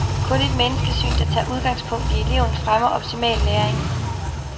Kun et menneskesyn, der tager udgangspunkt i eleven, fremmer optimal læring.